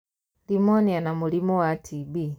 Rĩmunia, na mũrimũ wa tb